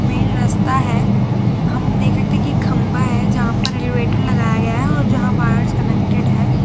Main रास्ता है हम देख रहे थे कि खंभा है जहां पर एलीवेटर लगाया गया है और जहां वायर्स कनेक्टेड है।